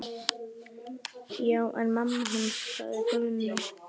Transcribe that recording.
Já, en mamma hans. sagði Gunni.